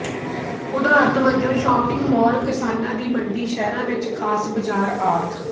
ਉਦਾਹਰਨ ਵਜੋਂ shopping mall ਕਿਸਾਨਾਂ ਦੀ ਮੰਡੀ ਸ਼ਹਿਰਾਂ ਵਿੱਚ ਖਾਸ ਬਜ਼ਾਰ ਆਦਿ